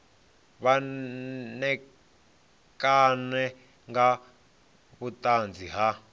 vha ṋekane nga vhuṱanzi ha